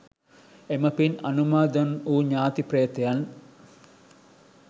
එම පින් අනුමෝදන් වූ ඥාති ප්‍රේතයන්